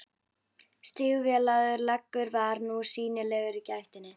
Stígvélaður leggur var nú sýnilegur í gættinni.